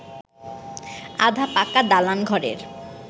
আধা পাকা দালান ঘরের